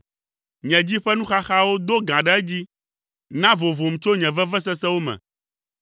Nye dzi ƒe nuxaxawo do gã ɖe edzi, na vovom tso nye vevesesewo me.